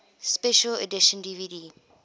special edition dvd